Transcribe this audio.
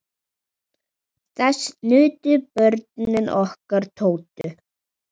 Þess nutu börnin okkar Tótu.